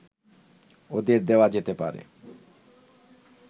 ওদের দেয়া যেতে পারে